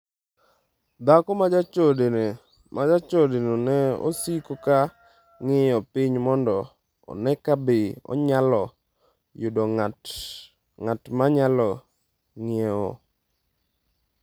’, dhako ma jachodeno ne osiko ka ng’iyo piny mondo one ka be onyalo yudo ng’at ma nyalo ng’iewo.